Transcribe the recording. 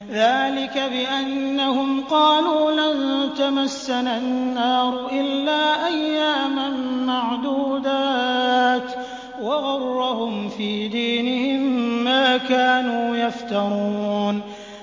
ذَٰلِكَ بِأَنَّهُمْ قَالُوا لَن تَمَسَّنَا النَّارُ إِلَّا أَيَّامًا مَّعْدُودَاتٍ ۖ وَغَرَّهُمْ فِي دِينِهِم مَّا كَانُوا يَفْتَرُونَ